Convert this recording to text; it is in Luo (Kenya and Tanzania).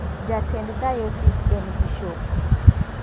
Jatend Diosis en Bishop.